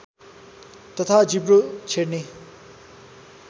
तथा जिब्रो छेड्ने